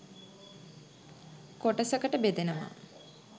කොටසකට බෙදෙනවා